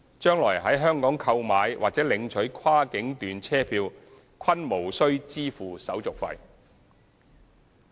將來在香港購買或領取跨境段車票均無須支付手續費。